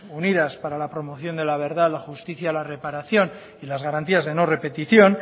unidas para la promoción de la verdad la justicia la reparación y las garantías de no repetición